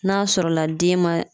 N'a sɔrɔla den man